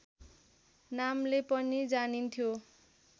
नामले पनि जानिन्थ्यो